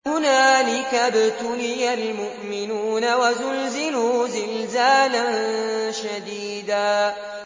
هُنَالِكَ ابْتُلِيَ الْمُؤْمِنُونَ وَزُلْزِلُوا زِلْزَالًا شَدِيدًا